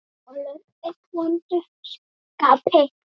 Kolur er í vondu skapi.